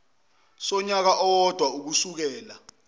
sonyaka owodwa ukusukela